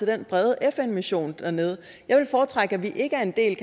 den brede fn mission dernede jeg ville foretrække at vi ikke er en del